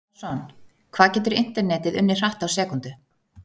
Arason Hvað getur internetið unnið hratt á sekúndu?